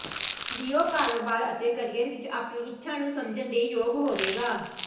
ਲਿਓ ਕਾਰੋਬਾਰ ਅਤੇ ਕਰੀਅਰ ਵਿਚ ਆਪਣੀ ਇੱਛਾ ਨੂੰ ਸਮਝਣ ਦੇ ਯੋਗ ਹੋਵੇਗਾ